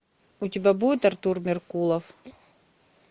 у тебя будет артур меркулов